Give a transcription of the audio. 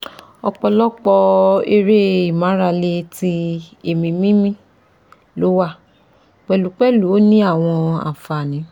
Opolopo ere imarale ti eemi mimi lowa, pelupelu o ni awon anfani